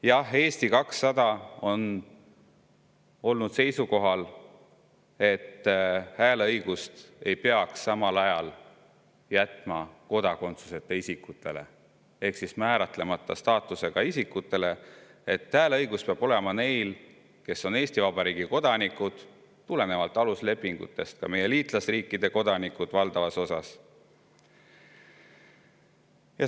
Jah, Eesti 200 on olnud seisukohal, et hääleõigust ei peaks samal ajal jätma kodakondsuseta isikutele ehk määratlemata staatusega isikutele, hääleõigus peab olema neil, kes on Eesti Vabariigi kodanikud, ning tulenevalt aluslepingutest ka meie liitlasriikide kodanikel valdavas osas.